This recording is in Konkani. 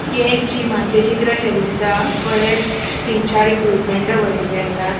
हे एक जिमाचे चित्र शे दिसता बरेच तीन चार इक्विप्मन्ट दवरिल्ले आसात.